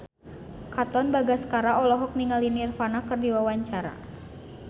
Katon Bagaskara olohok ningali Nirvana keur diwawancara